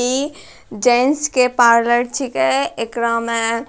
इ जैन्स के पार्लर छिकै अकेरा में